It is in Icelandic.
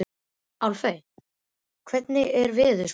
Álfey, hvernig er veðurspáin?